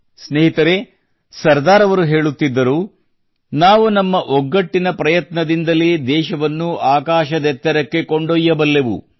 ಸ್ನೇಹಿತರೆ ಸರ್ದಾರ್ ಅವರು ಹೀಗೆ ಹೇಳುತ್ತಿದ್ದರು ನಾವು ನಮ್ಮ ಒಗ್ಗಟ್ಟಿನ ಪ್ರಯತ್ನದಿಂದಲೇ ದೇಶವನ್ನು ಆಕಾಶದೆತ್ತರಕ್ಕೆ ಕೊಂಡೊಯ್ಯಬಲ್ಲೆವು